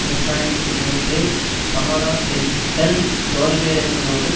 இரண்டு ஆயிரத்தி மூன்றில் சமாதான பேச்சுக்கள் தோல்வியடைந்ததோடு